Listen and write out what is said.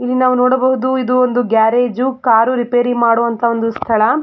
ಇಲ್ಲಿ ನಾವು ನೋಡಬಹುದು ಇದು ಒಂದು ಗ್ಯಾರೇಜ್ ಕಾರು ರಿಪೇರಿ ಮಾಡುವಂಥ ಸ್ಥಳ.